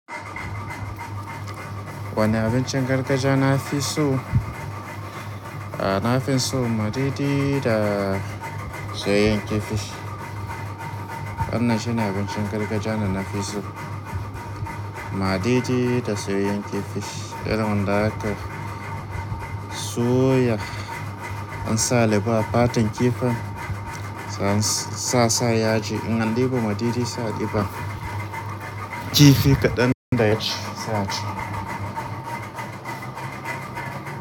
Wani abincin gargajiya na fi so? To, na fi son madidi da soyayyen kifi. Wannan shine abincin gargajiya da na fi so, madidi da soyayyen kifi. Irin wan da aka soya ansa leba a fatan kifin sai an sai asa yaji in an deba madidi sai a deba kifi kaɗan da yaji sai a ci.